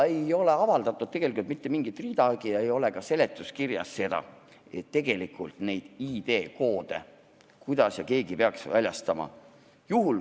Ei ole avaldatud tegelikult ridagi ega ole ka seletuskirjas seda, et kuidas ja kes neid ID-koode peaks väljastama.